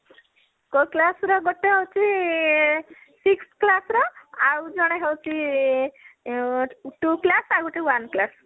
କୋଉ class ର ଗୋଟେ ହଉଛି ଆଁ sixth class ର ଆଉ ଜଣେ ହଉଛି ଆଁ two class ଆଉ ଗୋଟେ one class